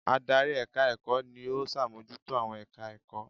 Adarí èka ẹ̀kọ́ ni ó sàmójútó àwọn èka ẹ̀kọ́